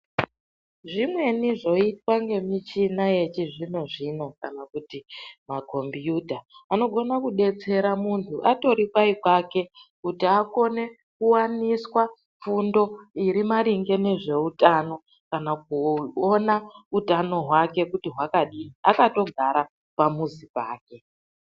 Zvimweni zvoitwa ngemichina yechizvino zvino kana kuti ma kombiyuta anogona kubetsera muntu atorikanyi kwake kuti akone kuwaniswa fundo irimaringe nezveutano kana kuona utano hwake kuti hwakadini akatogara pamuzi pake.